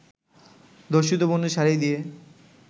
ধর্ষিত বোনের শাড়ি দিয়ে